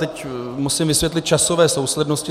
Teď musím vysvětlit časové souslednosti.